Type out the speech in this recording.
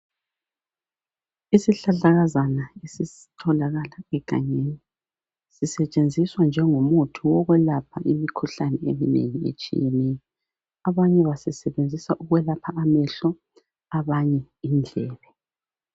Isihlahlakazana esitholakala egangeni. Sisetshenziswa njengomuthi wokwelapha imikhuhlane eminengi etshiyeneyo. Abanye basisebenzisa ukwelapha amehlo. Abanye indlebe.